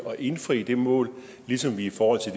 at indfri det mål ligesom vi i forhold til